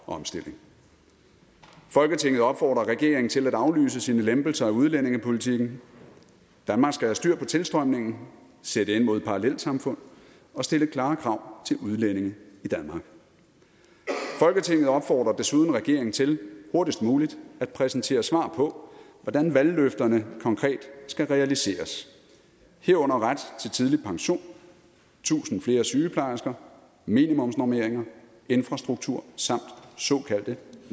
omstilling folketinget opfordrer regeringen til at aflyse sine lempelser af udlændingepolitikken danmark skal have styr på tilstrømningen sætte ind mod parallelsamfund og stille klare krav til udlændinge i danmark folketinget opfordrer desuden regeringen til hurtigst muligt at præsentere svar på hvordan valgløfterne konkret skal realiseres herunder ret til tidlig pension tusind flere sygeplejersker minimumsnormeringer infrastruktur samt såkaldte